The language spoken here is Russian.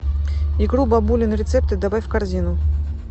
икру бабулины рецепты добавь в корзину